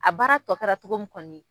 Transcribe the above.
A baara tɔ kɛra togo min kɔni.